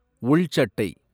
உள் சட்டை